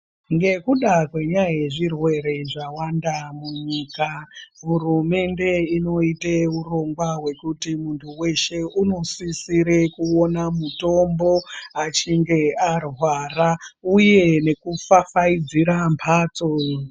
Ngekuda kwenyaya yezvirwere zvawanda munyika hurumende inoite urongwa hwekuti muntu weshe unosisire kuona mutombo achinge arwara uye nekufafaidzira mhatso.